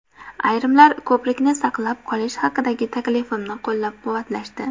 Ayrimlar ko‘prikni saqlab qolish haqidagi taklifimni qo‘llab-quvvatlashdi.